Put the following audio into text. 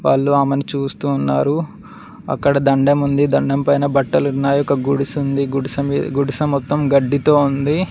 వాళ్ళు ఆమెని చూస్తూ ఉన్నారు అక్కడ దండెం ఉంది దండెం పైన బట్టలున్నాయి ఒక గుడిసె ఉంది గుడిసె మొత్తం గడ్డీతో ఉంది.